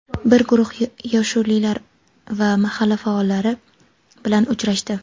bir guruh yoshullilar va mahalla faollari bilan uchrashdi.